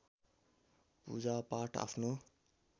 पूजा पाठ आफ्नो